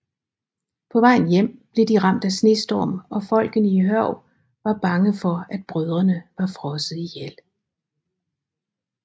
På vejen hjem blev de ramt af snestorm og folkene i Hørg var bange for at brødrene var frosset ihjel